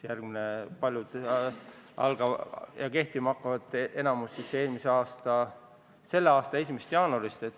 Paljud seadused hakkavad kehtima 1. jaanuarist.